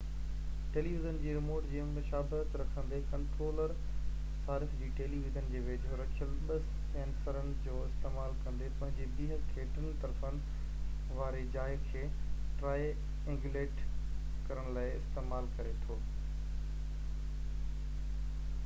television جي remote جي مشابهت رکندي ڪنٽرولر صارف جي ٽيلي ويزن جي ويجهو رکيل ٻہ سينسرن جو استعمال ڪندي پنهنجي بيهڪ کي ٽن طرفن واري جاءِ کي ٽرائي اينگيوليٽ ڪرڻ لاءِ استعمال ڪري ٿو